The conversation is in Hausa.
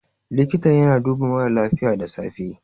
likita yana duba mara lafiya da safe